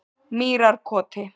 Mýrarkoti